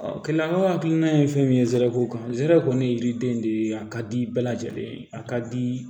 keleya hakilina ye fɛn min ye zeriw kan zere kɔni ye yiriden de ye a ka di bɛɛ lajɛlen ye a ka di